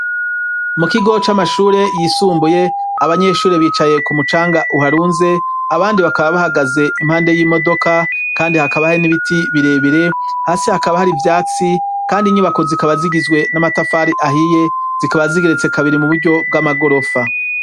mukigo c'amashure yisumbuye abanyeshure bicaye k'umucanga uharunze abandi bakaba bahagaze impande y'imodoka kandi hakaba hari n'ibiti birebire hasi hakaba har'ivyatsi kandi inyubako zikaba zigizwe n'amatafari ahiye zikaba zigeretse kabiri m'uburyo bw'amagorofa.